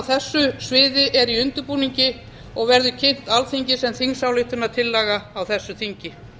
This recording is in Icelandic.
þessu sviði er í undirbúningi og verður kynnt alþingi sem þingsályktunartillaga á þessu þingi